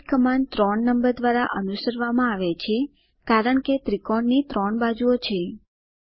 repeat command ૩ number દ્વારા અનુસરવામાં આવે છે કારણ કે ત્રિકોણની 3 બાજુઓ છે